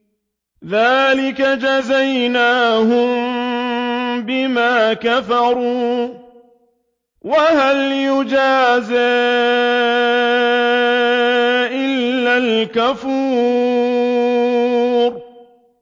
ذَٰلِكَ جَزَيْنَاهُم بِمَا كَفَرُوا ۖ وَهَلْ نُجَازِي إِلَّا الْكَفُورَ